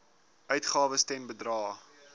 uitgawes ten bedrae